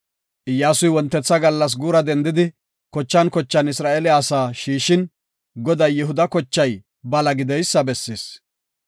Iyyasuy wontetha gallas guura dendidi, kochan kochan Isra7eele asaa shiishin, Goday Yihuda kochay bala gideysa bessis.